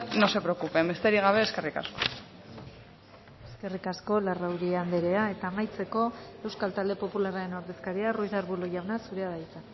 no se preocupen besterik gabe eskerrik asko eskerrik asko larrauri andrea eta amaitzeko euskal talde popularraren ordezkaria ruiz de arbulo jauna zurea da hitza